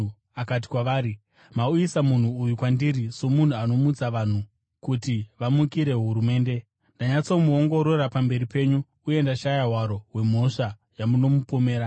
akati kwavari, “Mauyisa munhu uyu kwandiri somunhu anomutsa vanhu kuti vamukire hurumende. Ndanyatsomuongorora pamberi penyu uye ndashaya hwaro hwemhosva yamunomupomera.